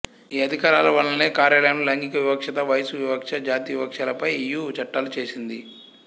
ఈ అధికారాల వల్లనే కార్యాలయంలో లైంగిక వివక్షత వయస్సు వివక్ష జాతి వివక్షలపై ఇయు చట్టాలు చేసింది